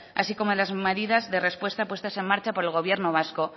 así como las medidas de respuesta puestas en marcha por el gobierno vasco